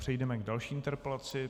Přejdeme k další interpelaci.